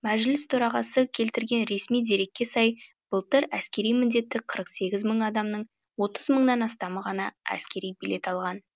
мәжіліс төрағасы келтірген ресми дерекке сай былтыр әскери міндетті қырық сегіз мың адамның отыз мыңнан астамы ғана әскери билет алған